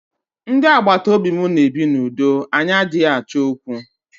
Ndị agbataobi mụ na ebi na udo anyị adịghị Achọ okwu.